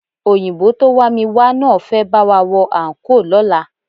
Òyìnbó tó wá mi wá náà fẹ́ bá wa wọ àńkò lọ́la